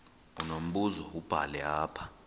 unombuzo wubhale apha